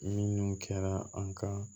Minun kɛra an ka